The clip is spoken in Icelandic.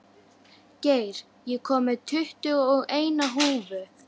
Geir, ég kom með tuttugu og eina húfur!